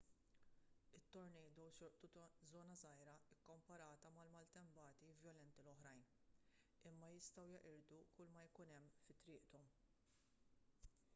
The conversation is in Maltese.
it-tornadoes jolqtu żona żgħira kkomparata mal-maltempati vjolenti l-oħrajn imma jistgħu jeqirdu kull ma jkun hemm fi triqthom